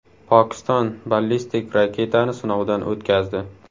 Pokiston ballistik raketani sinovdan o‘tkazdi.